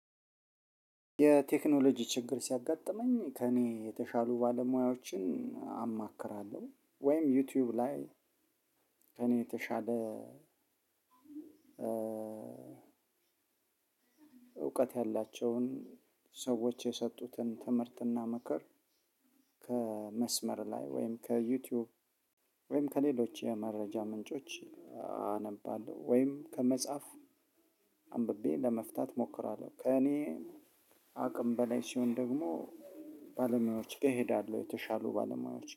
የቴክኖሎጂ ችግር ሲያጋጥመኝ ከእኔ የተሻሉ ባለሙያዎችን አማክራለሁ ወይም ዩቲዩብ ላይ ከእኔ የተሻለ እውቀት ያላቸውን ሰዎች የሰጡትን ትምህርትና ምክር ከመስመር ላይ ወይም ከዩቲዩብ ወይም ከሌሎች የመረጃ ምንጮች አነባለሁ። ወይም ከመጽሐፍ አንብቤ ለመፍታት እሞክራለሁ። ከእኔ አቅም በላይ ሲሆን ደግሞ ባለሙያዎች ጋ እሄዳለሁ። የተሻሉ ባለሙያዎች